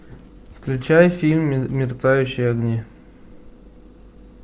включай фильм мерцающие огни